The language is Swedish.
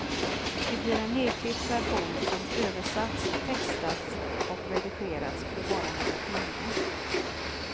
Det blir en nedklippt version som översatts, textats och redigerats på bara några timmar.